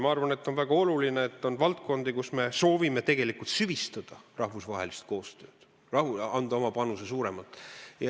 Ma arvan, et on väga oluline, et on valdkondi, kus me soovime süvistada rahvusvahelist koostööd, anda suurema panuse.